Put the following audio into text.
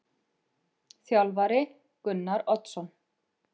Þjálfari: Gunnar Oddsson.